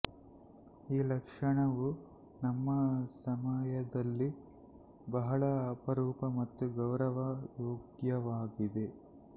ಈ ಲಕ್ಷಣವು ನಮ್ಮ ಸಮಯದಲ್ಲಿ ಬಹಳ ಅಪರೂಪ ಮತ್ತು ಗೌರವ ಯೋಗ್ಯವಾಗಿದೆ